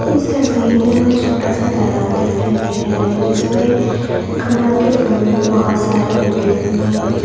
इस तस्वीर में हमें छोटा सा तालाब दिखाई दे रहा है जिसमें कमल के फूल बहोत सारे उगे हुए हैं।